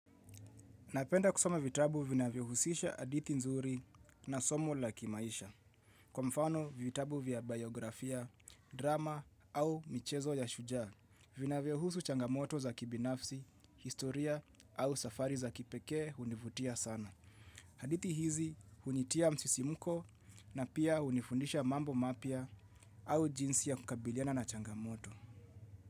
Napenda kusoma vitabu vinavyo husisha hadithi nzuri na somo la kimaisha. Kwa mfano vitabu vya biografia, drama au michezo ya shujaa, vinavyo husu changamoto za kibinafsi, historia au safari za kipeke univutia sana. Hadithi hizi hunitia msisimuko na pia hunifundisha mambo mapia au jinsi ya kukabiliana na changamoto.